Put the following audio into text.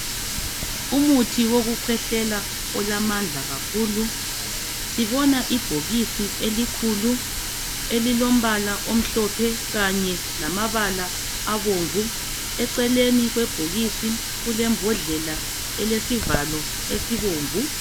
Umuthi wokukhwehlela ulamandla kakhulu sibona ibhokisi elikhulu elilombala omhlophe kanye lamabala abomvu eceleni kwebhokisi kulembodlela elesivalo esibomvu.